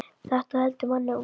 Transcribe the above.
Þetta heldur manni ungum.